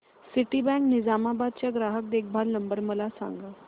Citibank Nizamabad चा ग्राहक देखभाल नंबर मला सांगा